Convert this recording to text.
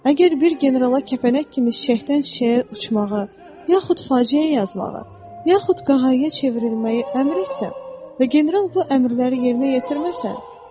Əgər bir generala kəpənək kimi çiçəkdən çiçəyə uçmağı, yaxud faciə yazmağı, yaxud qağayıya çevrilməyi əmr etsəm, və general bu əmrləri yerinə yetirməsə, kim müqəssirdir?